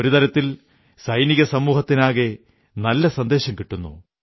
ഒരു തരത്തിൽ സൈനികസമൂഹത്തിനാകെ നല്ല സന്ദേശം കിട്ടുന്നു